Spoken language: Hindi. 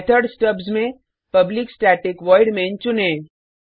मेथड स्टब्स में पब्लिक स्टैटिक वॉइड मैन चुनें